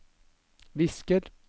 visker